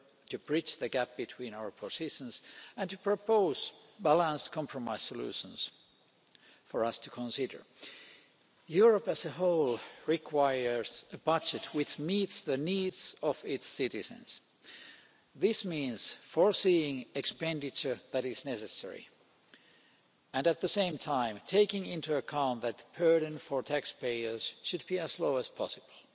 to bridge the gap between our positions and to propose balanced compromise solutions for us to consider. Europe as a whole requires a budget which meets the needs of its citizens. This means providing for expenditure that is necessary and, at the same time, taking into account that the burden for taxpayers should be as low as possible.